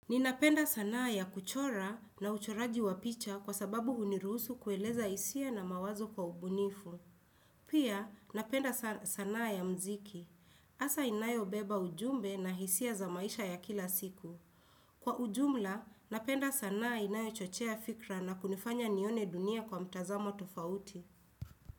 Ninapenda sanaa ya kuchora na uchoraji wa picha kwa sababu huniruhusu kueleza hisia na mawazo kwa ubunifu. Pia, napenda sanaa ya mziki. Hasa inayobeba ujumbe na hisia za maisha ya kila siku. Kwa ujumla, napenda sanaa inayo chochea fikra na kunifanya nione dunia kwa mtazamo tofauti.